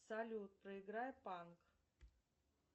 салют проиграй панк